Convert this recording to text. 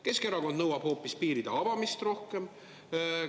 Keskerakond nõuab hoopis piiride rohkem avamist.